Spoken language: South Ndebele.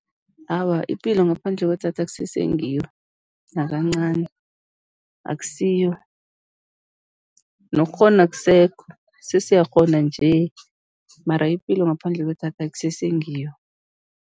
Awa, ipilo ngaphandle kwedatha akusese ngiyo, nakancani, akusiyo, nokukghona akusekho, sesiyakghona nje mara ipilo ngaphandle kwedatha akusese ngiyo.